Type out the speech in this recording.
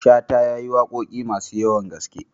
Shata ya yi waƙoƙi masu yawan gaske.